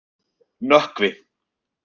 Nökkvi